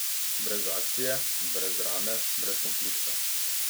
Brez akcije, brez drame, brez konflikta.